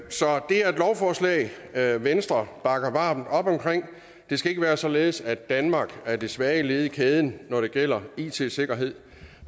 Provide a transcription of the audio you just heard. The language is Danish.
er et venstre bakker varmt op om det skal ikke være således at danmark er det svage led i kæden når det gælder it sikkerhed